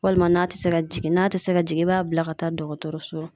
Walima n'a te se ka jigin. N'a te se ka jigin i b'a bila ka taa dɔgɔtɔrɔso la.